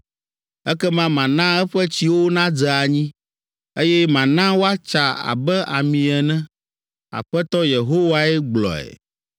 Ekema mana eƒe tsiwo nadze anyi, Eye mana woatsa abe ami ene.’ Aƒetɔ Yehowae gblɔe.